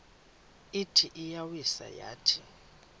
ithi iyawisa yathi